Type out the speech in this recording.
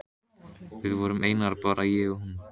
Við vorum einar, bara ég og hún.